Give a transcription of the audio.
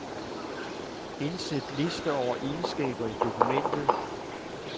Indsæt liste over egenskaber i dokumentet.